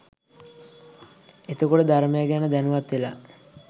එතකොට ධර්මය ගැන දැනුවත් වෙලා